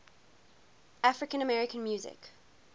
african american music